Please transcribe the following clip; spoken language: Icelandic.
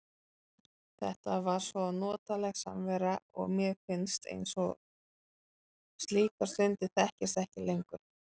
Þetta var svo notaleg samvera og mér finnst eins og slíkar stundir þekkist ekki lengur.